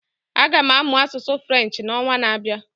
Aga m amụ asụsụ French na onwa na abịa